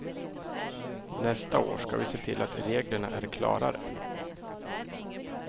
Nästa år ska vi se till att reglerna är klarare.